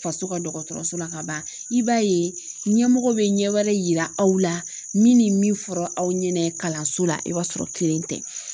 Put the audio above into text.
Faso ka dɔgɔtɔrɔso la ka ban i b'a ye ɲɛmɔgɔw bɛ ɲɛ wɛrɛ yira aw la min ni min fɔra aw ɲɛna kalanso la i b'a sɔrɔ kelen tɛ